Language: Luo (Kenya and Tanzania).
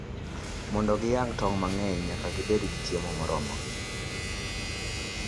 Mondo ginyag tong' mang'eny, nyaka gibed gi chiemo moromogi.